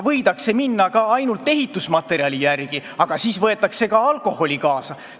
Võidakse minna ka ainult ehitusmaterjali järele, aga siis võetakse ka alkoholi kaasa.